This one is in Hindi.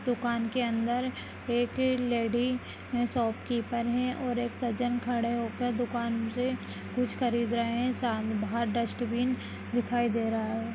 दुकान के अंदर एक लैडी शॉपकीपर है और एक सज्जन खड़े होकर दुकान से कुछ खरीद रहे है साम-बाहर डस्ट्बिन दिखाई दे रहा है।